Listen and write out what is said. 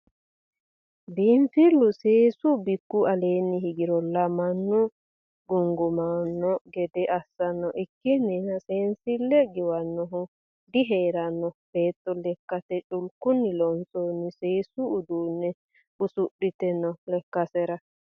Biinfilu seesu bikku aleeni higirolla mannu gungumano gede assano ikkininna seensile giwanohu diheerano beetto lekkate culkunni loonsonni seessu uduune usudhite no lekkasera.